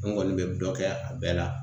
N kɔni be dɔ kɛ a bɛɛ la